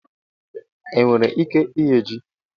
Enwere ike ighe ji